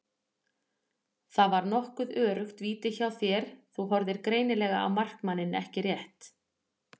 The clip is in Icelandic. Þetta var nokkuð öruggt víti hjá þér, þú horfðir greinilega á markmanninn ekki rétt?